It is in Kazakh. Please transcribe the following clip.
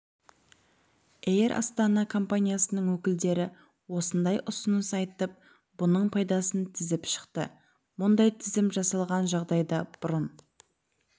эйр астана компаниясының өкілдері осындай ұсыныс айтып бұның пайдасын тізіп шықты мұндай тізім жасалған жағдайда бұрын